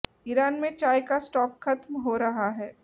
Iran में चाय का स्टॉक खत्म हो रहा है